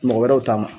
Mɔgɔ wɛrɛw ta ma